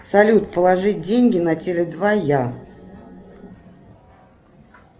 салют положить деньги на теле два я